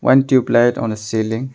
One tube light on a celling.